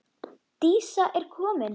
Dísa er komin!